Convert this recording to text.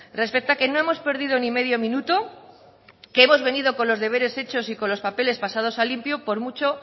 respecta que no hemos perdido ni medio minuto que hemos venido con los deberes hechos y con los papeles pasados a limpio por mucho